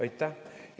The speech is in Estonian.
Aitäh!